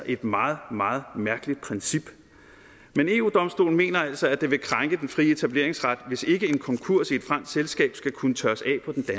et meget meget mærkeligt princip men eu domstolen mener altså at det vil krænke den frie etableringsret hvis ikke en konkurs i et fransk selskab skal kunne tørres af